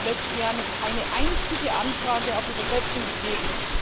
Es hat im letzten Jahr nicht eine einzige Anfrage auf Übersetzung gegeben.